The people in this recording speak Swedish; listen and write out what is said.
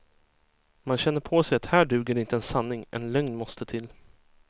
Man känner på sig att här duger inte en sanning, en lögn måste till.